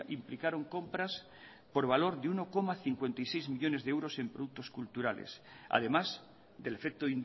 implicaron compras por valor de uno coma cincuenta y seis millónes de euros en productos culturales además del efecto